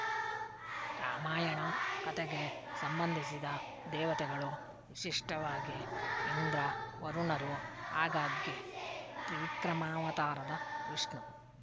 ರಾಮಾಯಣ ಕಥೆಗೆ ಸಂಬಂಧಿಸಿದ ದೇವತೆಗಳು ವಿಶಿಷ್ಟವಾಗಿ ಇಂದ್ರ ವರುಣರು ಆಗಾಗ್ಗೆ ತ್ರಿವಿಕ್ರಮಾವತಾರದ ವಿಷ್ಣು